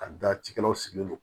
Ka da cikɛlaw sigilen don